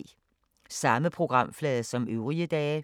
Samme programflade som øvrige dage